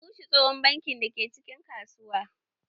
An rushe tsohon banki da ke cikin kasuwa.